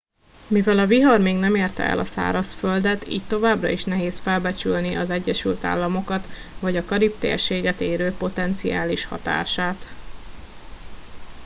mivel a vihar még nem érte el a szárazföldet így továbbra is nehéz felbecsülni az egyesült államokat vagy a karib térséget érő potenciális hatását